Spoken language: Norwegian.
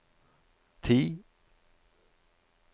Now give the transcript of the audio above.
ti